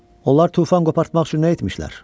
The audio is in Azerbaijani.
Onlar tufan qopartmaq üçün nə etmişlər?